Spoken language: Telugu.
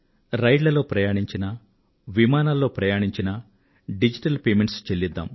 రైళ్ళలో ప్రయాణించినా విమానాల్లో ప్రయాణించినా డిజిటల్ చెల్లింపులు జరుపుదాం